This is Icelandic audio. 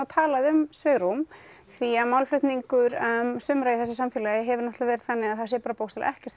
talað um svigrúm því að málflutningur sumra í þessu samfélagi hefur verið þannig að það sé bókstaflega ekkert